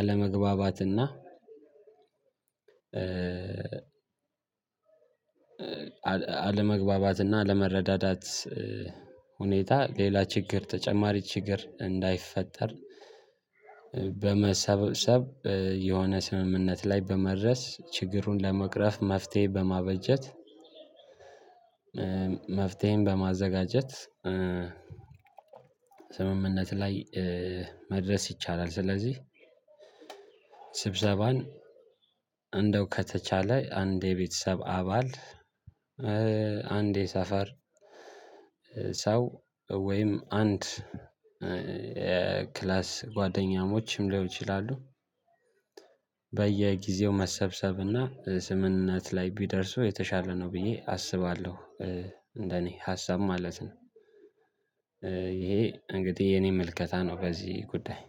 አለመግባባትና አለመግባባት አለመግባባትና አለመረዳዳት ሁኔታ ሌላ ችግር ተጨማሪ ችግር እንዳይፈጠር በመሰብሰብ የሆነ ስምምነት ላይ በመድረስ ችግሩን ለመቅረፍ መፍትሄ በማበጀት። መፍትሄን በማዘጋጀት ስምምነት ላይ መድረስ ይቻላል። ስለዚህ ስብሰባን እንደው ከተቻለ አንድ የቤተሰብ አባል እንድ የሰፈር ሰው ወይም አንድ ክላስ ጓደኛሞችም ሊሆን ይችላሉ። በየጊዜው መሰብሰብና ስምምነት ላይ ቢደርሱ የተሻለ ነው ብዬ አስባለሁ። እንደኔ ሀሳብ ማለት ነው። ይሄ እንግዲህ የኔ ምልከታ ነው። በዚህ ጉዳይ